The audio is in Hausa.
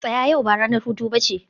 tsaya! yau ba ranar hutu ba ce